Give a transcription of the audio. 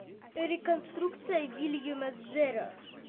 реконструкция уильяма зеро